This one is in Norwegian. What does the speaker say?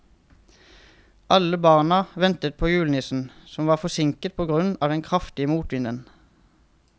Alle barna ventet på julenissen, som var forsinket på grunn av den kraftige motvinden.